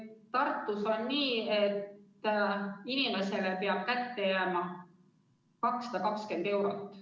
Tartus on nii, et inimesele peab kätte jääma 220 eurot.